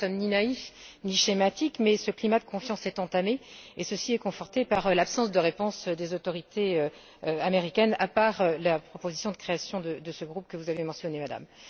Alors, nous ne sommes ni naïfs ni schématiques, mais ce climat de confiance est entamé, et ceci est conforté par l'absence de réponse des autorités américaines, à part la proposition de création de ce groupe que vous avez mentionnée, Madame.